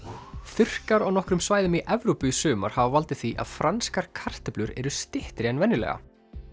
þurrkar á nokkrum svæðum í Evrópu í sumar hafa valdið því að franskar kartöflur eru styttri en venjulega